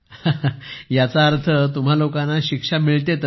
हसून याचा अर्थ तुम्हा लोकांना शिक्षा मिळते तर